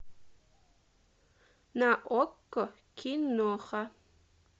на окко киноха